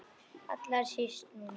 Allra síst núna.